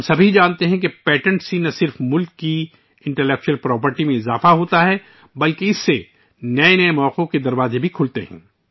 ہم سب جانتے ہیں کہ پیٹنٹ نہ صرف ملک کی دانشورانہ املاک میں اضافہ کرتے ہیں ، بلکہ ان سے نئے مواقع کے دروازے بھی کھلتے ہیں